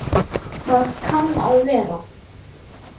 Það kann að vera